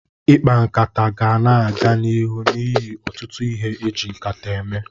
Ikpa nkata ga na-aga n'iru n'ihi ọtụtụ ihe e ji nkata eme.